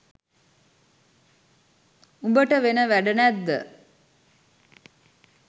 උඹට වෙන වැඩ නැද්ද